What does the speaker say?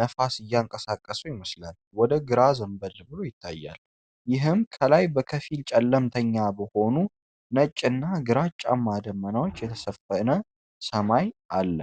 ነፋስ እያንቀሳቀሰው ይመስላል ወደ ግራ ዘንበል ብሎ ይታያል፤ ይህም ከላይ በከፊል ጨለምተኛ በሆኑ ነጭና ግራጫማ ደመናዎች የተሸፈነ ሰማይ አለ።